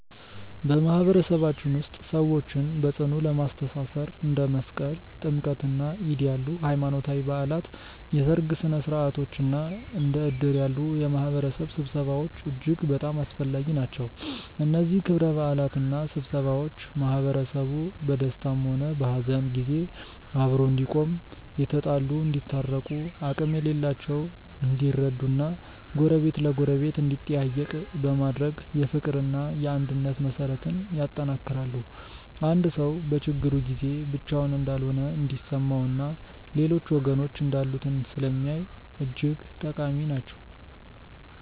በማህበረሰባችን ውስጥ ሰዎችን በጽኑ ለማስተሳሰር እንደ መስቀል፣ ጥምቀትና ዒድ ያሉ ሃይማኖታዊ በዓላት፣ የሠርግ ሥነ ሥርዓቶች እና እንደ እድር ያሉ የማህበረሰብ ስብሰባዎች እጅግ በጣም አስፈላጊ ናቸው። እነዚህ ክብረ በዓላትና ስብሰባዎች ማህበረሰቡ በደስታም ሆነ በሐዘን ጊዜ አብሮ እንዲቆም፣ የተጣሉ እንዲታረቁ፣ አቅም የሌላቸው እንዲረዱ እና ጎረቤት ለጎረቤት እንዲጠያየቅ በማድረግ የፍቅርና የአንድነት መሠረትን ያጠነክራሉ። አንድ ሰው በችግሩ ጊዜ ብቻውን እንዳልሆነ እንዲሰማውና ሌሎች ወገኖች እንዳሉት ስለሚያሳይ እጅግ ጠቃሚ ናቸው።